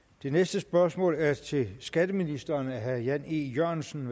det næste spørgsmål er til skatteministeren fra herre jan e jørgensen